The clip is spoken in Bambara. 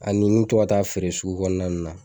Ani n to ka taa feere sugu kɔnɔna nun na.